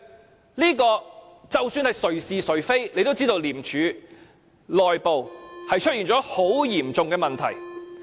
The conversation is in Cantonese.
就這一點，姑且不討論誰是誰非，也可知道廉署內部出現了很嚴重的問題。